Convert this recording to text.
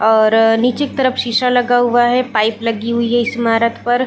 और नीचे की तरफ शीशा लगा हुआ है पाइप लगी हुई हैं इस इमारत पर--